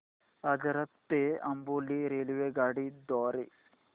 आजरा ते अंबोली रेल्वेगाडी द्वारे